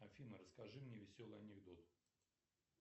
афина расскажи мне веселый анекдот